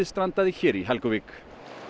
strandaði hér í Helguvík